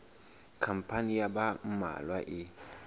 khampani ya ba mmalwa e